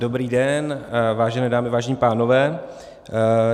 Dobrý den, vážené dámy, vážení pánové.